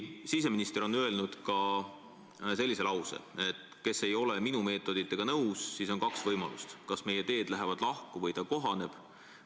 Siseminister on öelnud ka sellised laused: "Kes ei ole minu meetoditega nõus, siis on kaks võimalust: kas meie teed lähevad lahku või ta kohaneb.